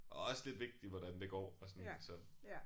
Og også lidt vigtigt hvordan det går og sådan så